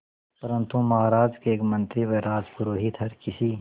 परंतु महाराज के एक मंत्री व राजपुरोहित हर किसी